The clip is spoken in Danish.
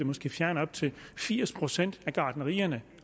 fjerne op til firs procent af gartnerierne